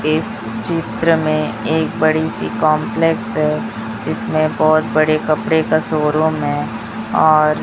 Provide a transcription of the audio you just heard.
इस चित्र में एक बड़ी सी कंपलेक्स है जिसमें बहुत बड़े कपड़े का शोरूम है और--